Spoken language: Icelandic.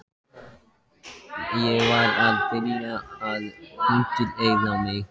Ég var að byrja að prufukeyra mig.